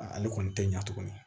A ale kɔni tɛ ɲa tuguni